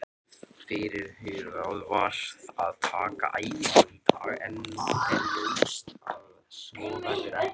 Fyrirhugað var að taka æfingu í dag en nú er ljóst að svo verður ekki.